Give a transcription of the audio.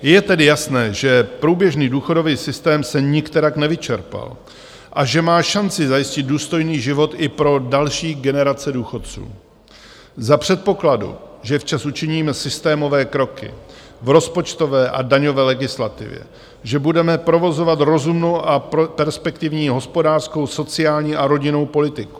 Je tedy jasné, že průběžný důchodový systém se nikterak nevyčerpal a že má šanci zajistit důstojný život i pro další generace důchodců - za předpokladu, že včas učiníme systémové kroky v rozpočtové a daňové legislativě, že budeme provozovat rozumnou a perspektivní hospodářskou, sociální a rodinnou politiku.